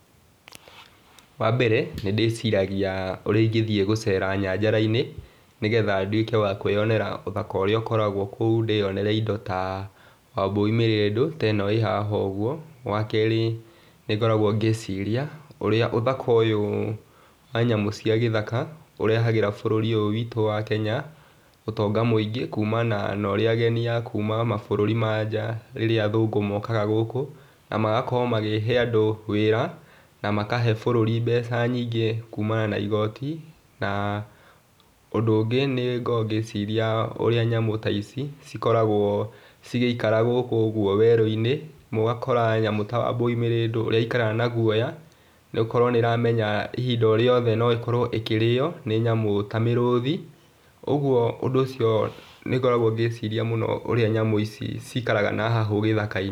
Wa mbere, nĩ ndĩciragia ũrĩa ĩngĩthii gũcera njarainĩ nĩgetha nduĩke wa kwĩonera ũthaka ũrĩa ũkoragwo kũu ,ndĩonere indo ta wambũi mĩrĩndũ teno ĩ haha ũguo. Wa kerĩ nĩ ngoragwo ngĩciria ũrĩa ũthaka ũyũ wa nyamũ cia gĩthaka ũrehagĩra bũrũri ũyũ witũ wa Kenya ũtonga mũingĩ kumana na ũrĩa ageni a kuuma mabũrũri ma nja rĩrĩa athũngũ mokaga gũkũ, na magakorwo makĩhe andũ wĩra na makahe bũrũri mbeca nyingĩ kumana na igooti. Na ũndũ ũngĩ nĩngoragwo ngĩciria ũrĩa nyamũ ta ici cikoragwo cigĩikara gũkũ ũguo werũinĩ, na ũgakora nyamũ ta wambũi mĩrĩndũ ũrĩa aikaraga na guoya na gũkorwo nĩramenya ihinda orĩothe noĩkorwe ĩkĩrĩo nĩ nyamũ ta mĩrũthi, ũguo ũcio nĩngoragwo ngĩcirĩa mũno ũrĩa nyamũ ici cikaraga na haha gĩthakainĩ.